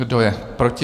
Kdo je proti?